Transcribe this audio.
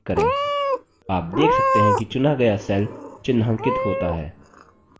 आप देख सकते हैं कि चुना गया cell चिन्हांकित होता है